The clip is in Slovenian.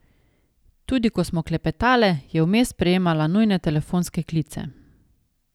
Tudi ko smo klepetale, je vmes sprejemala nujne telefonske klice.